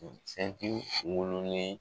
wololen